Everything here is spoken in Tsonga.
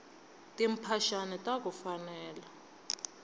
timphaxani taku fanela